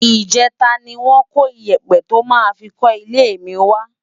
Ijètá ni wòn kó iyèpè tò má fi kò ilé mi wá